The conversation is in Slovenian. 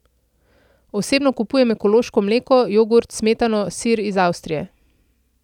Osebno kupujem ekološko mleko, jogurt, smetano, sir iz Avstrije.